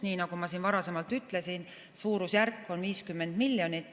Nii nagu ma siin varasemalt ütlesin, suurusjärk on 50 miljonit.